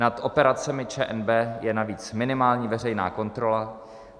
Nad operacemi ČNB je navíc minimální veřejná kontrola.